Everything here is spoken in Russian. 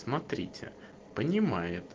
смотрите понимает